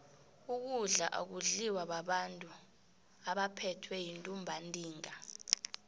ukudla akudliwa babantu abaphethwe yintumbantinga